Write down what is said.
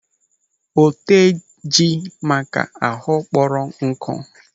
Oteji maaka ahụ kpọrọ nkụ.